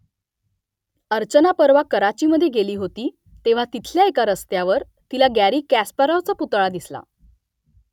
अर्चना परवा कराचीमधे गेली होती तेव्हा तिथल्या एका रस्त्यावर तिला गॅरी कास्पारोव्हचा पुतळा दिसला